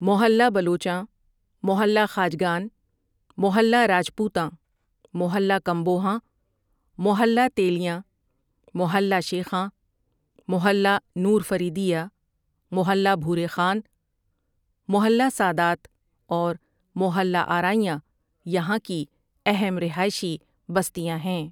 محلہ بلوچاں ، محلہ خواجگان، محلہ راجپوتاں، محلہ کمبوہاں، محلہ تیلیاں، محلہ شیخاں، محلہ نور فریدیہ، محلہ بھورے خان، محلہ سادات اور محلہ آرائیاں یہاں کی اہم رہائشی بستیاں ہیں ۔